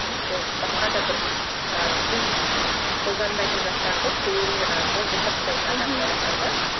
немесе басқа да бір ы біз қолданбайтын заттарды қолөнер арқылы жасап тастайтын адамдар бар да